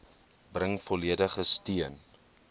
bring volledige steun